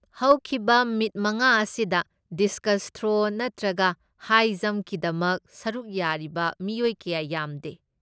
ꯍꯧꯈꯤꯕ ꯃꯤꯠ ꯃꯉꯥ ꯑꯁꯤꯗ ꯗꯤꯁꯀꯁ ꯊ꯭ꯔꯣ ꯅꯠꯇ꯭ꯔꯒ ꯍꯥꯏ ꯖꯝꯞꯀꯤꯗꯃꯛ ꯁꯔꯨꯛ ꯌꯥꯔꯤꯕ ꯃꯤꯑꯣꯏ ꯀꯌꯥ ꯌꯥꯝꯗꯦ꯫